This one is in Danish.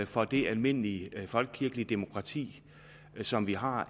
for det almindelige folkekirkelige demokrati som vi har